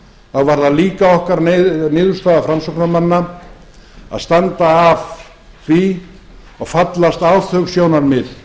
var það líka okkar niðurstaða framsóknarmanna að standa að því og fallast á þau sjónarmið